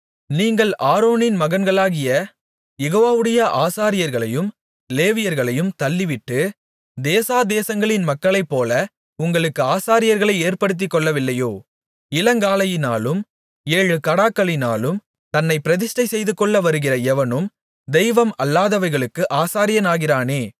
நீங்கள் ஆரோனின் மகன்களாகிய யெகோவாவுடைய ஆசாரியர்களையும் லேவியர்களையும் தள்ளிவிட்டு தேசாதேசங்களின் மக்களைப்போல உங்களுக்கு ஆசாரியர்களை ஏற்படுத்திக்கொள்ளவில்லையோ இளங்காளையினாலும் ஏழு கடாக்களினாலும் தன்னைப் பிரதிஷ்டை செய்துகொள்ள வருகிற எவனும் தெய்வம் அல்லாதவைகளுக்கு ஆசாரியனாகிறானே